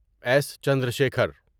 S Chandrashekhar